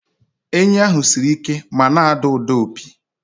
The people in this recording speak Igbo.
Enyí ahụ siri ike ma na-ada ụda opi.